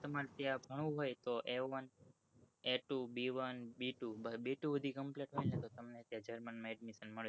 તમ્રારે ત્યાં ભણવું હોય તો A one A two B one B twocomplete ફાઈ જાય તો ત્યાં german માં admission મળી જાય